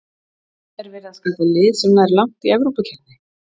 Er verið að skapa lið sem nær langt í Evrópukeppni?